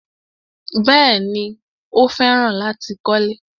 Bẹ́ẹ̀ni, Ó fẹ́ràn láti kọ́lẹ́.